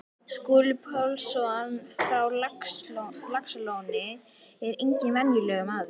Skúli Pálsson frá Laxalóni er enginn venjulegur maður.